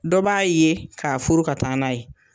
Dɔ b'a ye ka furu ka taa n'a ye.